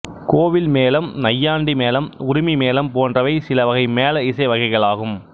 கோவில் மேளம் நையாண்டி மேளம் உறுமி மேளம் போன்றவை சில வகை மேள இசை வகைகளாகும்